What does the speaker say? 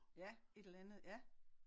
Ja et eller andet ja